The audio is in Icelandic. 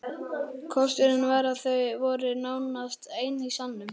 Kosturinn var að þau voru nánast ein í salnum.